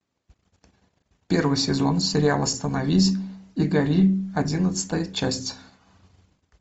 первый сезон сериал остановись и гори одиннадцатая часть